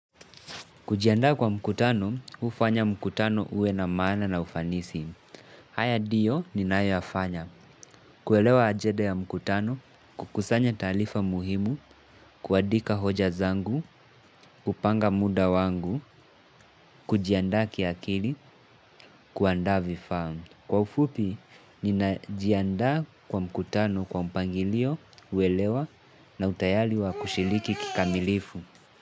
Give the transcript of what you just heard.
Kujianda kwa mkutano, hufanya mkutano uwe na maana na ufanisi. Haya ndiyo, ninayo yafanya. Kuelewa ajenda ya mkutano, kukusanya taarifa muhimu, kuandika hoja zangu, kupanga muda wangu, kujiandaa kiakili, kuandaa vifaa. Kwa ufupi, ninajiandaa kwa mkutano kwa mpangilio, uelewa na utayari wa kushiriki kikamilifu.